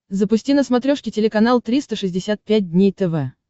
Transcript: запусти на смотрешке телеканал триста шестьдесят пять дней тв